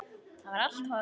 Það var allt horfið!